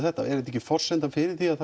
þetta er þetta ekki forsendan fyrir því að